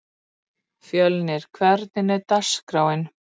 Engir svanir eru alsvartir.